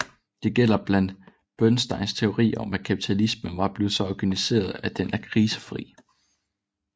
Det gælder blandt andet Bernsteins teori om at kapitalismen var blevet så organiseret at den er krisefri